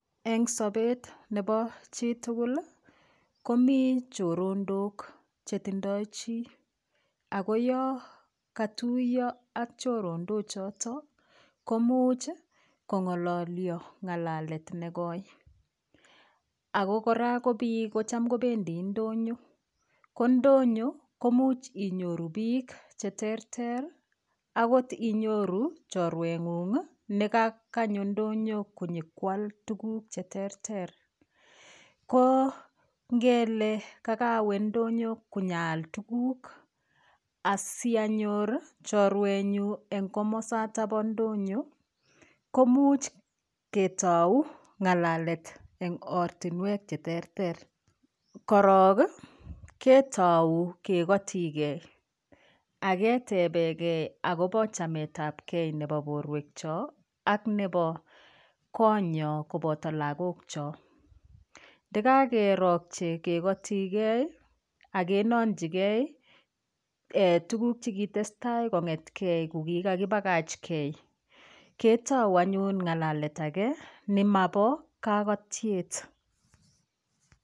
Eng' sobet nebo chitugul komi chorondok chetindoi chi ako yo katuiyo ak chorondochoto komuuch kong'ololyo ng'alalet negoi ako kora ko biik kocham kobendi ndonyo ko ndonyo komuch inyoru biik cheterter akot inyoru chorwen'ung' nekakanyo ndonyo konyikwal tukuk cheterter ko ngele kakawe ndonyo konyaal tukuk asianyor chorwenyu eng' komosata bo ndonyo komuuch ketou ng'alet eng' ortinwek cheterter korok ketou kekotikei aketebekei akobo chametab gei nebo borwekcho ak nebo konyo koboto lakokcho ndikakerokche kekotikei agenonjigei tukuk chekatestai kong'etkei kokikapakachkei ketou anyun Ng'alalet age nemabo kakatyet